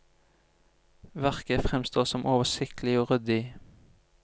Verket fremstår som oversiktlig og ryddig.